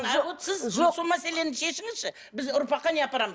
сол мәселені шешіңізші біз ұрпаққа не апарамыз